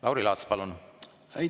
Lauri Laats, palun!